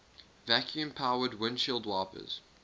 vacuum powered windshield wipers